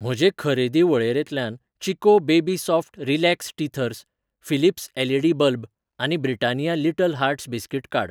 म्हजे खरेदी वळेरेंतल्यान Chicco baby soft relax teethers, Philips LED. Bulb आनी ब्रिटानिया लिटल हार्ट्स बिस्कीट काड.